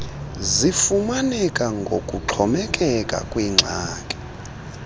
zifumaneka ngokuxhomekeka kwingxaki